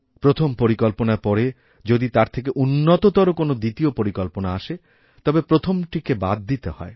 প্রথম পরিকল্পনার পরে যদি তার থেকে উন্নততর কোনওদ্বিতীয় পরিকল্পনা আসে তবে প্রথমটিকে বাদ দিতে হয়